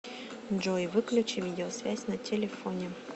джой выключи видеосвязь на телефоне